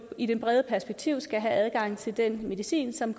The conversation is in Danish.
i det brede perspektiv skal have adgang til den medicin som